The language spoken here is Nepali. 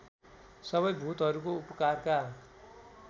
सबै भूतहरूको उपकारका